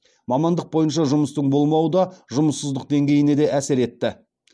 мамандық бойынша жұмыстың болмауы да жұмыссыздық деңгейіне де әсер етті